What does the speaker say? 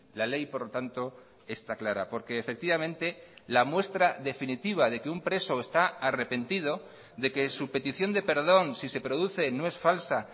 la ley por lo tanto está clara porque efectivamente la muestra definitiva de que un preso está arrepentido de que su petición de perdón si se produce no es falsa